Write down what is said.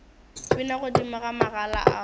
bina godimo ga magala ao